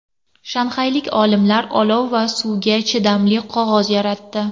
Shanxaylik olimlar olov va suvga chidamli qog‘oz yaratdi.